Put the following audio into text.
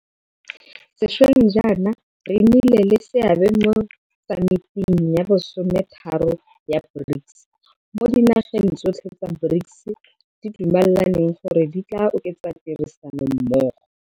Sešweng jaana re nnile le seabe mo Samiting ya bo 13 ya BRICS, mo dinaga tsotlhe tsa BRICS di dumelaneng gore di tla oketsa tirisanommogo.